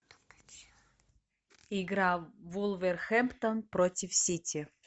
игра вулверхэмптон против сити